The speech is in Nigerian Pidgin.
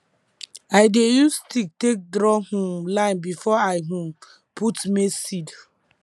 i dey use stick take draw um line before i um put maize seed